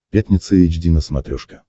пятница эйч ди на смотрешке